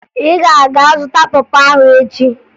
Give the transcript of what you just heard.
Ị ga-aga zụta pọ pọ ahụ echi!